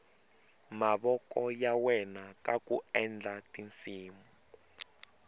mavoko ya wela kaku endla tinsimu